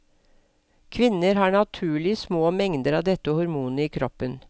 Kvinner har naturlig små mengder av dette hormonet i kroppen.